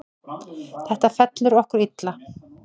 Þetta fellur okkur illa.